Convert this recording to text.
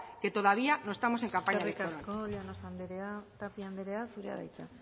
que todavía no estamos en campaña electoral eskerrik asko llanos anderea tapia anderea zurea da hitza